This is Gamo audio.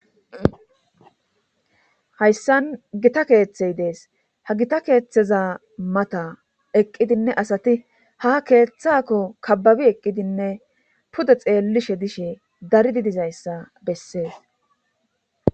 hayssan gita keeththey dees ha gita keeththeza mata eqqidinne asati ha keeththakko kabbabi eqqidinne pude xeellishe dishe daridi dizayssa bessees